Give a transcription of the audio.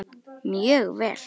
Mjög vel.